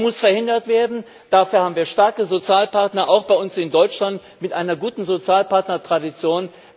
Das muss verhindert werden, dafür haben wir starke Sozialpartner, auch bei uns in Deutschland, mit einer guten Sozialpartner Tradition.